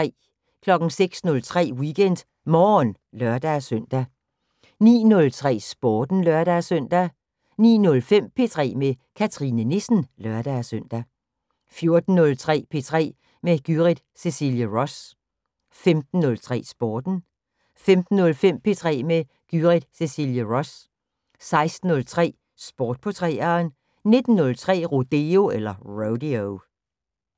06:03: WeekendMorgen (lør-søn) 09:03: Sporten (lør-søn) 09:05: P3 med Cathrine Nissen (lør-søn) 14:03: P3 med Gyrith Cecilie Ross 15:03: Sporten 15:05: P3 med Gyrith Cecilie Ross 16:03: Sport på 3'eren 19:03: Rodeo